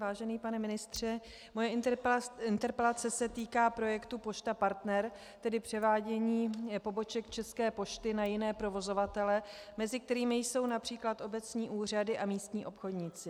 Vážený pane ministře, moje interpelace se týká projektu Pošta Partner, tedy převádění poboček České pošty na jiné provozovatele, mezi kterými jsou například obecní úřady a místní obchodníci.